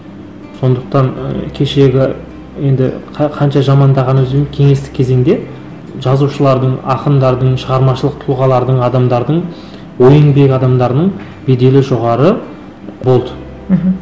сондықтан ыыы кешегі енді қанша жамандағанымызбен кеңестік кезеңде жазушылардың ақындардын шығармашылық тұлғалардың адамдардың ой еңбек адамдарының беделі жоғары болды мхм